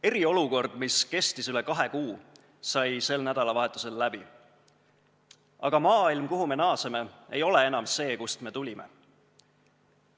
Eriolukord, mis kestis üle kahe kuu, sai sel nädalavahetusel läbi, aga maailm, kuhu me naaseme, ei ole enam see, kust me tulime.